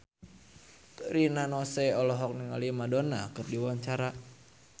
Rina Nose olohok ningali Madonna keur diwawancara